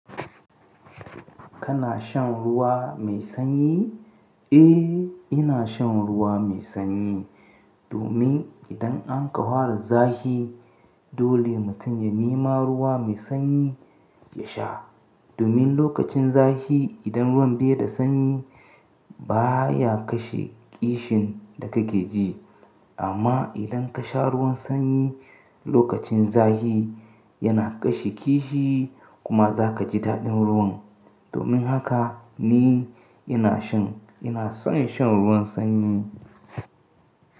Kana shan ruwa mai sanyi? Eh, ina shan ruwa mai sanyi domin idan an ka fara zafi dole mutum ya nima ruwa mai sanyi ya sha. Domin lokacin zafi idan ruwan bai da sanyi baya kashe ƙishin da kake ji. Amma idan ka sha ruwan sanyi lokacin zafi yana kashe kishi kuma za ka ji daɗin ruwan. Domin haka ni ina shan, ina son shan ruwan sanyi.